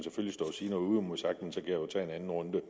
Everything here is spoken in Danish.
stå og sige noget uimodsagt men så kan jo tage en anden runde